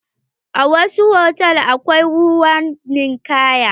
A wasu hotal akwai ruwan ninkaya.